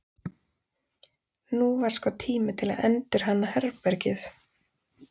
Nú var sko tími til að endurhanna herbergið.